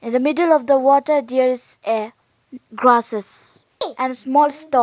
in the middle of the water there is a grasses and small stone.